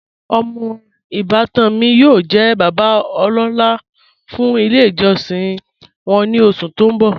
Omọ ibàtan mi yóò jẹ̀ bàbá ọlọ́la fún ilẹ̀ ijọsin wọn ni oṣù tó n bọ́.